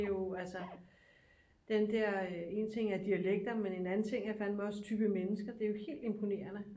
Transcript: Det er jo altså den der en ting er dialekter men en anden ting er fandme også type mennesker det er jo helt imponerende